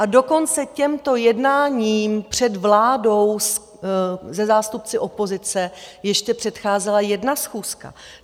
A dokonce těmto jednáním před vládou se zástupci opozice ještě předcházela jedna schůzka.